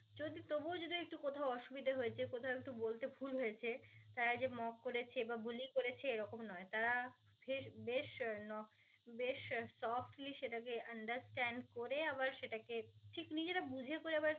অসুবিধা হয়েছে কোথাও একটু বলতে ভুল হয়েছে তারা যে mock করেছে বা বুলি করেছে এইরকম নয় তারা ফেস~ বেশ ন~ বেশ softly সেটাকে understand করে আবার সেটা কে